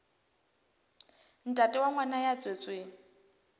ntate wa ngwana ya tswetsweng